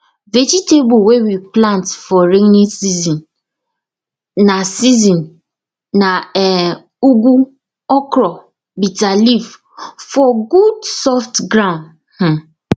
vegetable wey we plant for rainy season na season na um ugu okra bitter leaf for good soft ground um